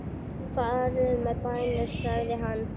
Farið með bænir sagði hann.